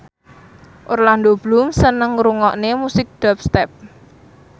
Orlando Bloom seneng ngrungokne musik dubstep